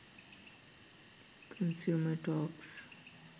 consumer talks